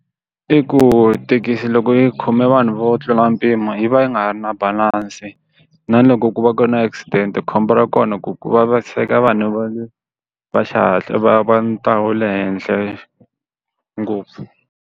I ku thekisi loko yi khome vanhu vo tlula mpimo yi va yi nga ha ri na balansi na loko ku va ku na accident khombo ra kona ku ku vaviseka vanhu va le va xihatla va va ni le henhla ngopfu.